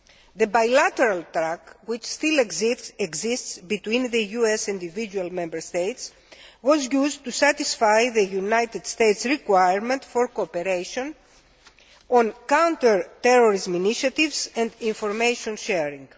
The bilateral track, which still exists between the US and individual Member States, was used to satisfy the United States' requirement for cooperation on counter terrorism initiatives and information sharing.